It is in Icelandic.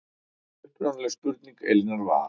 Upprunaleg spurning Elínar var